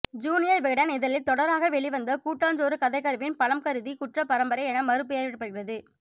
junior Vikatan இதழில் தொடராக வெளிவந்த கூட்டஞ்சோறு கதைகருவின் பலம் கருதி குற்ற பரம்பரை என மறு பெயரிடபடுகிறது